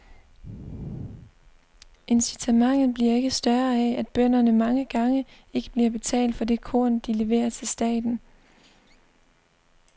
Incitamentet bliver ikke større af, at bønderne mange gange ikke bliver betalt for det korn, de leverer til staten.